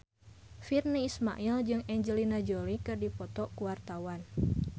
Virnie Ismail jeung Angelina Jolie keur dipoto ku wartawan